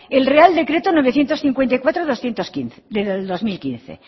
el real decreto novecientos cincuenta y cuatro del dos mil quince